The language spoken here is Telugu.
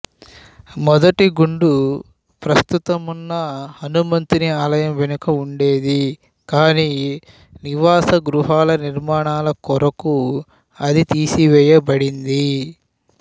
మొదటిగుండు ప్రస్తుతమున్న హనుమంతుని ఆలయం వెనుక ఉండేది కానీ నివాస గృహాల నిర్మాణాలకొరకు అది తీసివేయబడింది